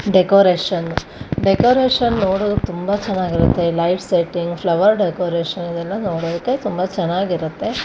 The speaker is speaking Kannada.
ಡೆಕೋರೇಷನ್ ಡೆಕೋರೇಷನ್ ನೋಡೊದು ತುಂಬಾ ಚನ್ನಗಿರುತ್ತೆ ಲೈಟ್ ಸೆಟ್ಟಿಂಗ್ ಫ್ಲವರ್ ಡೆಕೋರೇಷನ್ ಇವೆಲ್ಲಾ ನೋಡೊಕೆ ತುಂಬಾ ಚನ್ನಾಗಿರುತ್ತೆ.